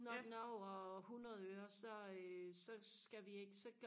når den er over hundrede øre så øh så skal vi ikke så